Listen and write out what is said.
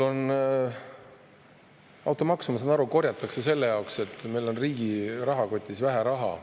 Automaksu, ma saan aru, korjatakse selle jaoks, et meil on riigi rahakotis vähe raha.